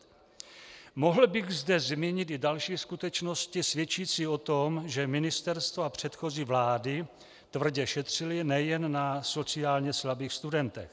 Mohl bych zde zmínit i další skutečnosti svědčící o tom, že ministerstvo a předchozí vlády tvrdě šetřily nejen na sociálně slabých studentech.